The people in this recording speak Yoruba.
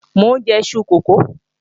Mò ń jẹ iṣu kókò